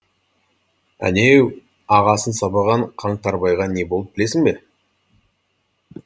әнеу ағасын сабаған қаңтарбайға не болды білесің бе